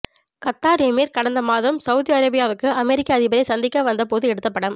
Qatar emir கடந்த மாதம் Saudi அரேபியாவுக்கு அமெரிக்க அதிபரை சந்திக்க வந்தபோது எடுத்த படம்